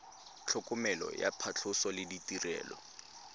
tlhokomelo ya phatlhoso le ditirelo